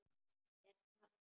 Er það?